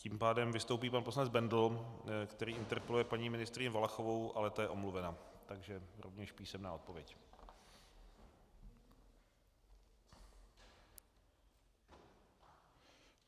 Tím pádem vystoupí pan poslanec Bendl, který interpeluje paní ministryni Valachovou, ale ta je omluvena, takže rovněž písemná odpověď.